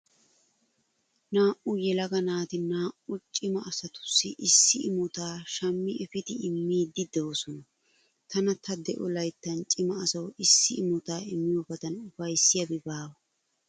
Naa"u yelaga naati naa"u cima asatussi issi imota shmmi efidi immiiddi doosona. Tana ta de'o layttan cima aswu issi imota immiyobadan ufayssiyabi baawa.